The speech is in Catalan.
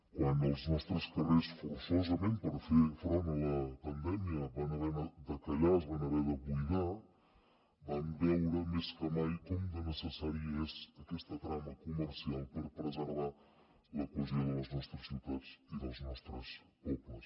quan els nostres carrers forçosament per fer front a la pandèmia van haver de callar es van haver de buidar vam veure més que mai com de necessària és aquesta trama comercial per preservar la cohesió de les nostres ciutats i dels nostres pobles